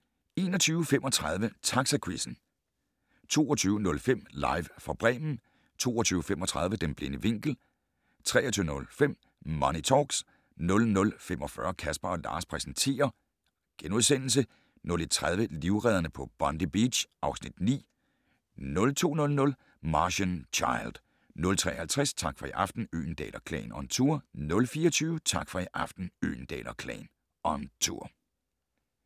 21:35: Taxaquizzen 22:05: Live fra Bremen 22:35: Den blinde vinkel 23:05: Money Talks 00:45: Casper & Lars præsenterer * 01:30: Livredderne på Bondi Beach (Afs. 9) 02:00: Martian Child 03:50: Tak for i aften - Øgendahl & Klan on tour 04:20: Tak for i aften - Øgendahl & Klan on tour